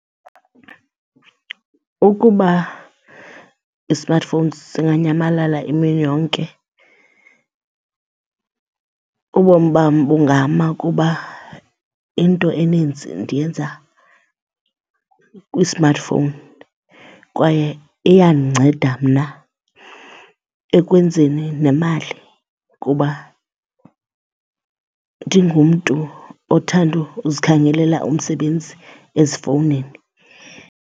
Ukuba i-smartphone singanyamalala imini yonke ubomi bam bungama kuba into eninzi ndiyenza kwi-smartphone kwaye iyandinceda mna ekwenzeni nemali kuba ndingumntu othanda uzikhangelela umsebenzi ezifowunini.